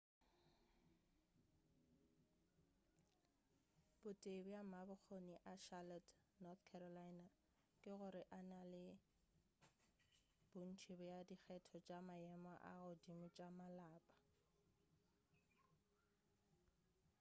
bo tee bja mabokgoni a charlotte north carolina ke gore e na le bontši bja dikgetho tša maemo a godimo tša malapa